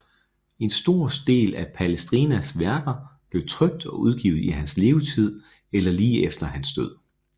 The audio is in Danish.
En stor del af Palestrinas værker blev trykt og udgivet i hans levetid eller lige efter hans død